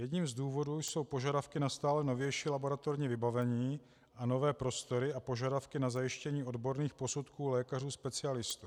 Jedním z důvodů jsou požadavky na stále novější laboratorní vybavení a nové prostory a požadavky na zajištění odborných posudků lékařů specialistů.